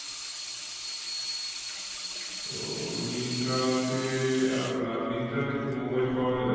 তো মিন্ত্রাতে আর আহ মিন্ত্রাতে কি mobile পাওয়া যায়?